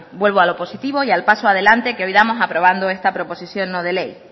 vuelvo a lo positivo y al paso adelante que hoy damos aprobando esta proposición no de ley